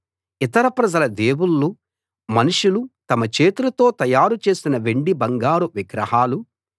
ఇతర ప్రజల దేవుళ్ళు మనుషులు తమ చేతులతో తయారు చేసిన వెండి బంగారం విగ్రహాలు